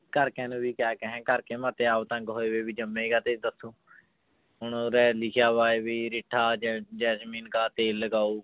ਘਰਦਿਆਂ ਨੂੰ ਵੀ ਕਿਆ ਕਹੇ ਘਰ ਕੇ ਮੇਰੇ ਤੇ ਆਪ ਤੰਗ ਹੋਏ ਹੋਏ ਵੀ ਜੰਮੇ ਕਾਹਤੇ ਇੱਧਰ ਤੂੰ ਹੁਣ ਉਰੇ ਲਿਖਿਆ ਵਾ ਵੀ ਰਿੱਠਾ ਜੈ~ ਜੈਸਮੀਨ ਕਾ ਤੇਲ ਲਗਾਓ